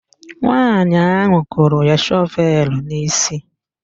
Nwaanyị ahụ kụrụ ya shọvelu n'isi